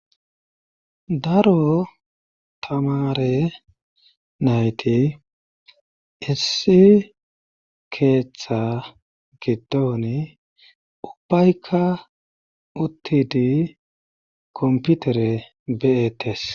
Daro tamare nayti issi keeththa gidooni ubbayka uttidi komputere be7etes